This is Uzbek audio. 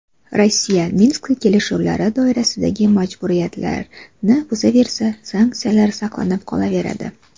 Rossiya Minsk kelishuvlari doirasidagi majburiyatlarini buzaversa, sanksiyalar saqlanib qolaveradi.